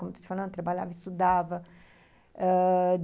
Como eu estou te falando, trabalhava e estudava ãh...